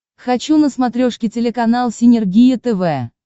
хочу на смотрешке телеканал синергия тв